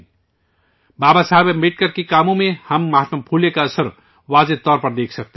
بابا صاحب امبیڈکر کے کاموں میں ہم مہاتما پھولے کا اثر واضح طور پر دیکھ سکتے ہیں